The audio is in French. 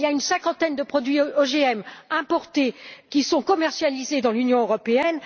Il y a une cinquantaine de produits OGM importés qui sont commercialisés dans l'Union européenne.